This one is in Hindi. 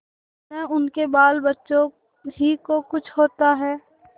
न उनके बालबच्चों ही को कुछ होता है